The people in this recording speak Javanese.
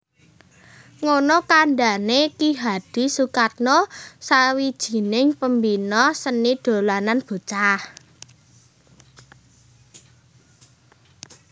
Ngono kandhane Ki Hadi Sukatno sawijining Pembina seni dolanan bocah